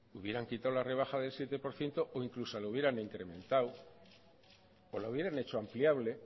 hubieran quitado la rebaja del siete por ciento o incluso la hubieran incrementado o la hubieran hecho ampliable